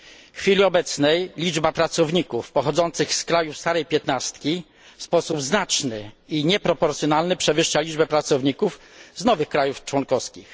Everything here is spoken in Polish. W chwili obecnej liczba pracowników pochodzących z krajów starej 15 w sposób znaczy i nieproporcjonalny przewyższa liczbę pracowników z nowych krajów członkowskich.